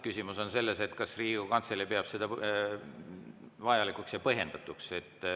Küsimus on selles, kas Riigikogu Kantselei peab seda vajalikuks ja põhjendatuks.